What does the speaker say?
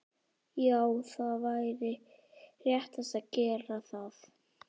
Já það væri réttast að gera það.